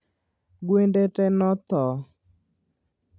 Gwende tee nothoo